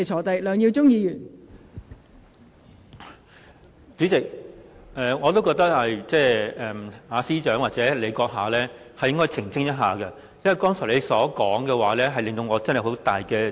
代理主席，我認為司長或代理主席閣下應該澄清一下，因為你剛才的說話，令我有很大疑惑。